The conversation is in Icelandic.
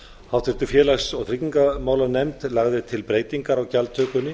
háttvirtur félags og tryggingamálanefnd lagði til breytingar á gjaldtökunni